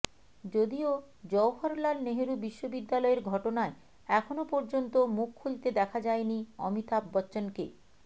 যদিও জওহরলাল নেহরু বিশ্ববিদ্যালয়ের ঘটনায় এখনও পর্যন্ত মুখ খুলতে দেখা যায়নি অমিতাভ বচ্চনকে